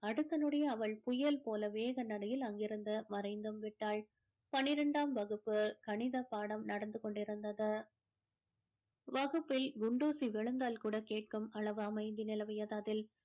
அடுத்த நொடியே அவள் புயல் போல வேக நடையில் அங்கிருந்து மறைந்தும் விட்டாள் பன்னிரெண்டாம் வகுப்பு கணித பாடம் நடந்து கொண்டிருந்தது வகுப்பில் குண்டூசி விழுந்தால் கூட கேட்கும் அளவு அமைதி நிலவியது அதில்